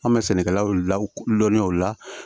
An bɛ sɛnɛkɛlaw ladɔniya o la